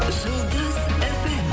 жұлдыз фм